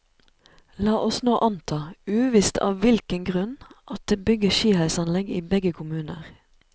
La oss nå anta, uvisst av hvilken grunn, at det bygges skiheisanlegg i begge kommuner.